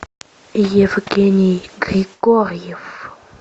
евгений григорьев